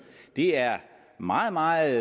det er meget meget